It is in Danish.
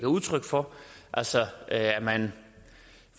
udtryk for altså at man